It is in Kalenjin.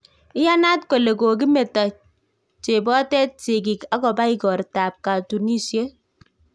Iyanaat kole kokimeto chepotet sikgik agoba igortab katunisiet